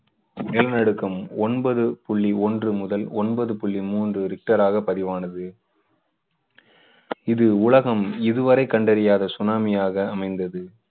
நிலநடுக்கம் ஒன்பது புள்ளி ஒன்று முதல் ஒன்பது புள்ளி மூன்று ரிக்டராக பதிவானது. இது உலகம் இதுவரை கண்டறியாத சுனாமியாக அமைந்தது.